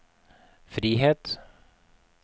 frihet